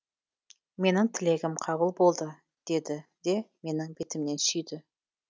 менің тілегім қабыл болды деді де менің бетімнен сүйді